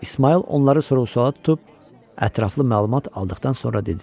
İsmayıl onları sorğu-suala tutub ətraflı məlumat aldıqdan sonra dedi.